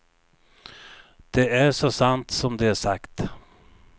Det är så sant som det är sagt.